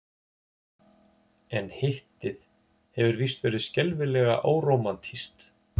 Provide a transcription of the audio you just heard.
En Hittið hefur víst verið skelfilega órómantískt.